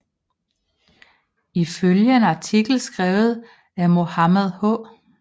Ifølge en artikel skrevet af Mohamed H